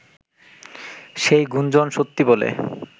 সেই গুঞ্জণ সত্যি বলে